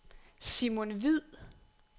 Simon Hviid